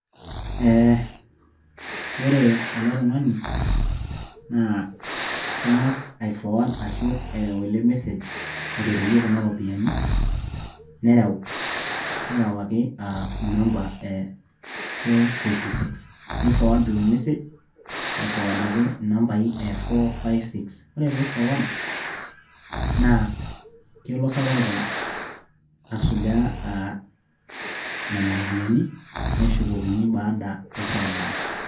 ee ore ele tungani na kengas afforward ashu erew ele message oterewie kuna ropian nerew nerewakiaa inamba ee four fiffty six nifforward olmessage aifforward inambai ee four fiffty six ore pifforward na kelo safaricom asuja nena ropian neshukokini baada esaa nabo.